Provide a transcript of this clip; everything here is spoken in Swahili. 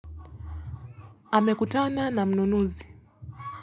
Hamekutana na mnunuzi.